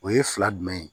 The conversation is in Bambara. O ye fila jumɛn ye